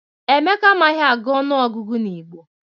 Emeka amaghị agụ ọnụọgụgụ n'Igbo